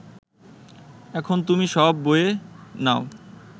এখন তুমি সব বয়ে নাও